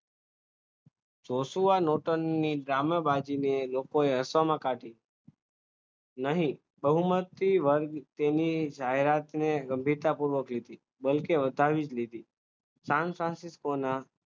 ચોસવા નવતાને ગામમાં બાજીને લોકોએ હસવામાં કાઢી નહીં બહુમતી વર્ગ તેને જાહેરાતને ગમીતાપૂર્વક કે બતાવી નથી સામ સાથે કોના સામસામે કોના